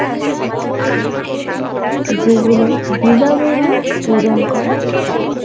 যেগুলো বিনামূল্যে প্রদান করা হয়।